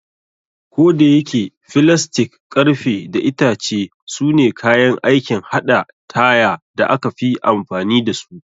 Kodayake, filastik, ƙarfe, da itace sune kayan aikin haɗa tire da aka fi amfani da su.